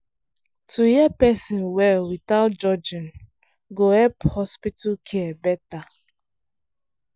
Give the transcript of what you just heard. to hear person well without judging go help hospital care better.